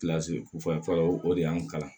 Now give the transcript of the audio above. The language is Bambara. fɔlɔ o de y'an kalan